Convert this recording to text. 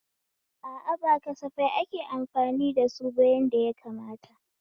A a, ba kasafai ake amfani da suba yadda yakamata